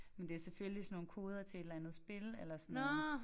Men det selvfølgelig sådan nogle koder til et eller andet spil eller sådan noget